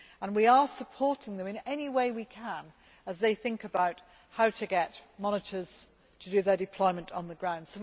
We are supporting them in any way we can as they think about how to get monitors to do their deployment on the ground.